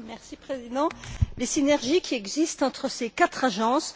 Monsieur le Président, les synergies qui existent entre ces quatre agences